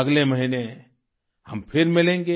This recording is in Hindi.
अगले महीने हम फिर मिलेंगे